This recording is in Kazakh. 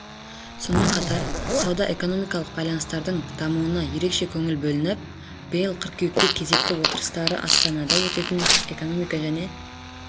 сонымен қатар сауда-экономикалық байланыстардың дамуына ерекше көңіл бөлініп биыл қыркүйекте кезекті отырыстары астанада өтетін экономика және